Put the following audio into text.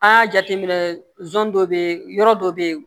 An y'a jateminɛ dɔ bɛ yen yɔrɔ dɔ bɛ yen